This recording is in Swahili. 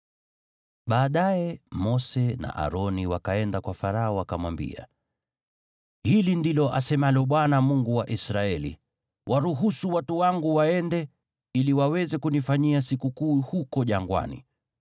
Baadaye Mose na Aroni wakaenda kwa Farao, wakamwambia, “Hili ndilo asemalo Bwana , Mungu wa Israeli: ‘Waruhusu watu wangu waende, ili waweze kunifanyia sikukuu huko jangwani.’ ”